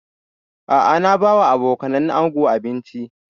A'a na ba wa abokanan ango abinci